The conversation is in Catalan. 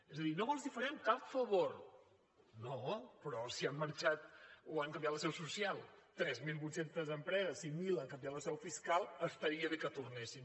és a dir no els farem cap favor no però si han marxat o han canviat la seu social tres mil vuit cents empreses i mil han canviat la seu fiscal estaria bé que tornessin